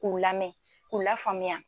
k'u lamɛn k'u lafaamuya